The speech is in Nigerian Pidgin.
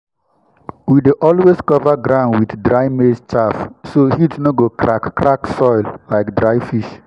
we dey always cover ground with dry maize chaff so heat no go crack crack soil like dry fish.